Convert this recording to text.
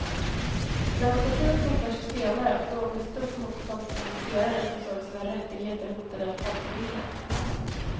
Demokratin kom först senare och då under stort motstånd från investerare som såg sina rättigheter hotade av folkviljan.